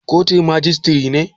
Kotun majistire ce?